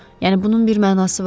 Yəni bunun bir mənası var?